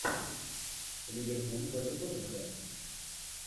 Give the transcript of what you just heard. ливерпуль против тоттенхэм